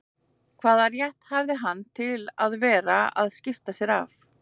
Hvaða rétt hafði hann til að vera að skipta sér af